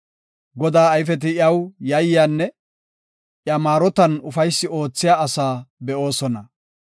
Godaa ayfeti iyaw yayyanne iya maarotan ufaysi oothiya asaa be7oosona.